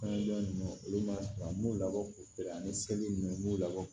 Kɔnɔja ninnu olu ma sɔn an b'u labɔ k'u feere ani seli ninnu m'u labɔ